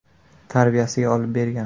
tarbiyasiga olib bergan.